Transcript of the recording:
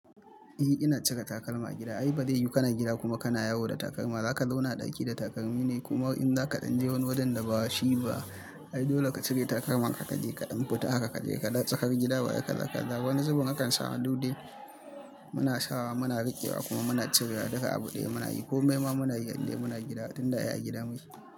Eh ina cira takalma agida, ai ba zai yu kana gida kuma kana yawo da takalma, zaka zauna a ɗaki da takalmi ne, kuma in zaka ɗanje wani wajen da ba shi ba, ai dole ka cire takalma ka kaje kaɗan fita haka kaje ka da tsakar gida baya kaza kaza. Wani zubin akan samu dude muna sawa muna riƙewa kuma muna cirewa duka agu ɗaya munayi komai ma munayi idan muna gida, tinda ai agida muke.